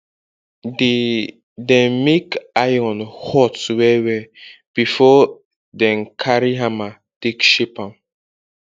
dey dem make iron hot well well before den carry hammer take shape am